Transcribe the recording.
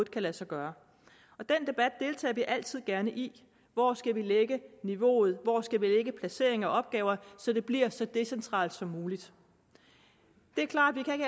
kan lade sig gøre den debat deltager vi altid gerne i hvor skal vi lægge niveauet hvor skal vi lægge placeringen af opgaver så det bliver så decentralt som muligt det er klart at vi